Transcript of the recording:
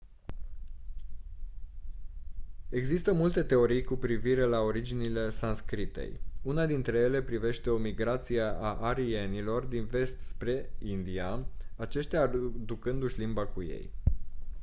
există multe teorii cu privire la originile sanscritei una dintre ele privește o migrație a arienilor din vest spre india aceștia aducându-și limba cu ei